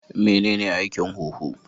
Menene aikin huhu?